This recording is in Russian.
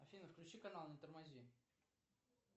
афина включи канал не тормози